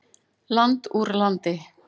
Land úr landi.